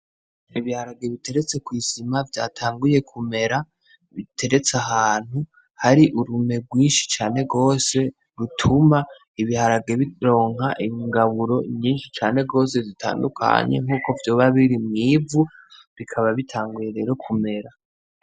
Ibiharage biteretse kw'isima vyatanguye kumera, biteretse ahantu hari urume rwinshi cane gose rutuma ibiharage bironka ingaburo nyinshi cane gose zitandukanye nkuko vyoba biri mw'ivu bikaba bitanguye no kumera.